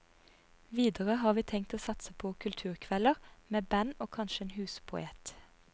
Videre har vi tenkt å satse på kulturkvelder, med band og kanskje en huspoet.